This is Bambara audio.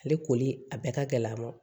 Ale koli a bɛɛ ka gɛlɛn a ma